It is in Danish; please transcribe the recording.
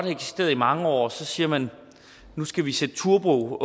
eksisteret i mange år og så siger man nu skal vi sætte turbo på